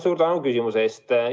Suur tänu küsimuse eest!